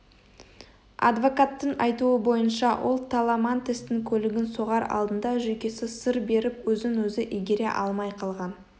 адвокаттың айтуы бойынша ол таламантестың көлігін соғар алдында жүйкесі сыр беріп өзін-өзі игере алмай қалған